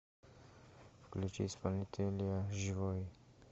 включи исполнителя живой